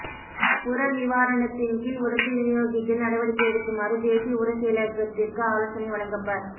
உர நிவாரணத்தின் கீழ் உரத்தை விநியோகிக்க நடவடிக்கை எடுக்குமாறு தேசிய உர செயலகத்திற்கு ஆலோசனை வழங்கப்ப